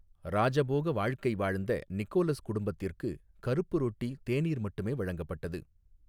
ராஜபோக வாழ்க்கை வாழ்ந்த நிக்கோலஸ் குடும்பத்திர்க்கு கறுப்பு ரொட்டி தேனீர் மட்டுமே வழங்கப்பட்டது.